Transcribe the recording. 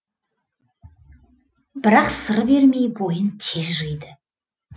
бірақ сыр бермей бойын тез жиды